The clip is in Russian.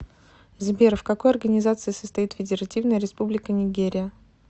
сбер в какой организации состоит федеративная республика нигерия